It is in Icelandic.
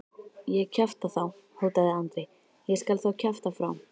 Ég kjafta þá, hótaði Andri, ég skal þá kjafta frá.